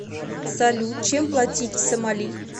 салют чем платить в сомали